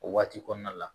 O waati kɔnɔna la